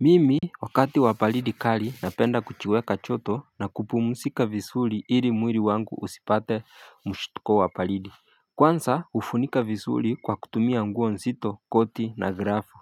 Mimi wakati wa baridi kali napenda kujiweka joto na kupumzika vizuri ili mwili wangu usipate mshtuko wa baridi. Kwanza hufunika vizuri kwa kutumia nguo nzito koti na grafu.